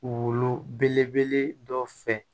Wolo belebele dɔ fɛ